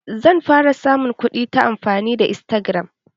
Zan fara samun kuɗi ta amfani da istagiram.